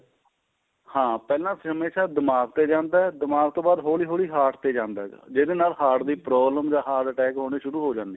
ਹਾਂ ਪਹਿਲਾਂ ਹਮੇਸ਼ਾ ਦਿਮਾਗ਼ ਤੇ ਜਾਂਦਾ ਦਿਮਾਗ਼ ਤੋਂ ਬਾਅਦ ਹੋਲੀ ਹੋਲੀਂ heart ਤੇ ਜਾਂਦਾ ਜਿਹਦੇ ਨਾਲ heart ਦੀ problem ਜਾਂ heart attack ਹੋਣੇ ਸ਼ੁਰੂ ਹੋ ਜਾਂਦੇ ਏ